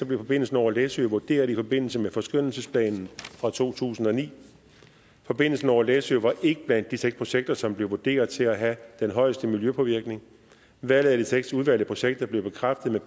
blev forbindelsen over læsø vurderet i forbindelse med forskønnelsesplanen fra to tusind og ni forbindelsen over læsø var ikke blandt de seks projekter som blev vurderet til at have den højeste miljøpåvirkning valget af de seks udvalgte projekter blev bekræftet med